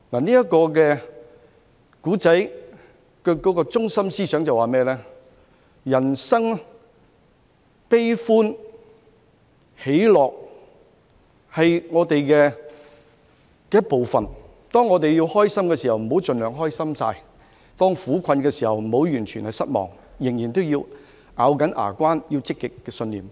這個故事的中心思想告訴我們，人生悲歡喜樂是我們的一部分，當我們開心時，不用盡情大喜；當我們苦困時，亦不要完全失望，仍然要咬緊牙關，抱持積極信念。